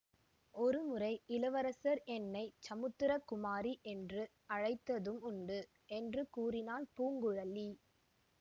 ஒரு முறை இளவரசர் என்னை சமுத்திர குமாரி என்று அழைத்ததும் உண்டு என்று கூறினாள் பூங்குழலி